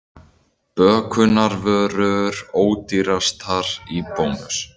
Bökunarvörur ódýrastar í Bónus